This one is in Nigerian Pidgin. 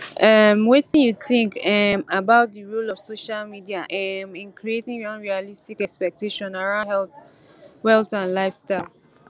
um wetin you think um about di role of social media um in creating unrealistic expectations around wealth and lifestyle